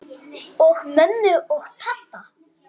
Og mömmu og pabba.